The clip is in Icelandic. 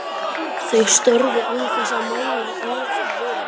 Þau störðu án þess að mæla orð frá vörum.